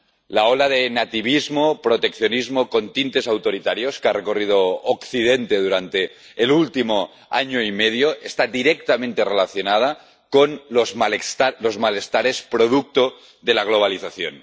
La ola de nativismo —proteccionismo con tintes autoritarios— que ha recorrido Occidente durante el último año y medio está directamente relacionada con los malestares producto de la globalización.